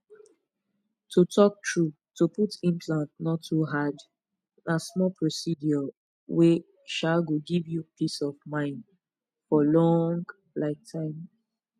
to talk true to put implant no too hard na small procedure wey um go give you peace of mind for long um time